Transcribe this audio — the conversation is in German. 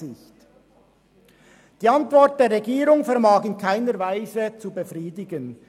Die Antwort der Regierung vermag in keiner Weise zu befriedigen.